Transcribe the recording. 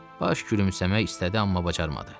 Baş gülümsəmək istədi, amma bacarmadı.